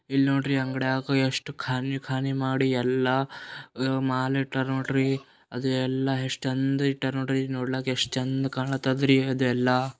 ಇಲ್ ನೋಡ್ರಿ ಅಂಗಡಿಯಾಗ್ ಎಷ್ಟ್ ಖಾನಿ ಖಾನಿ ಮಾಡಿ ಎಲ್ಲ ಅ ಮಾಲ್ ಇಟ್ಟಾರ್ ನೋಡ್ರಿ ಅದು ಎಲ್ಲ ಎಷ್ಟ್ ಚೆಂದ್ ಇಟ್ಟರ್ ನೋಡ್ರಿ ನೋಡ್ಲಕ್ ಎಷ್ಟ್ ಚಂದ್ ಕಾಣತಾದ್ರಿ ಅದೆಲ್ಲ.